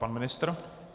Pan ministr?